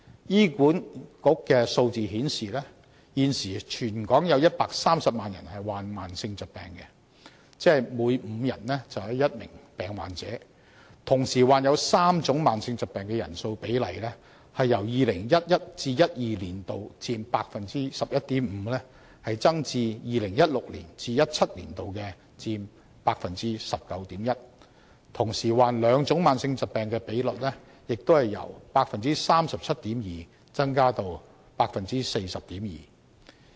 醫院管理局的數字顯示，現時全港有約130萬人患上慢性疾病，即每5人便有1名病患者，同時患有3種慢性疾病的人數比例由 2011-2012 年度佔 11.5% 增至 2016-2017 年度佔 19.1%， 同時患兩種慢性疾病的比率也由 37.2% 增至 40.2%。